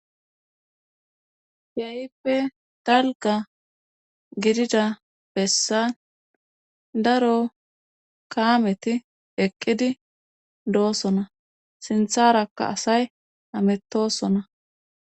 keehippe dalga gidida bessa daro kaameti eqqidi doossona sintharakka asay hamettosona.